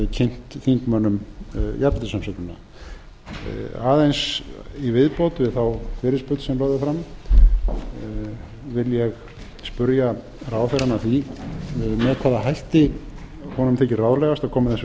kynnt þingmönnum jafnréttisumsögnina aðeins í viðbót við þá fyrirspurn sem lögð er fram vil ég spyrja ráðherrann að því með hvaða hætti honum þykir ráðlegast að koma þessu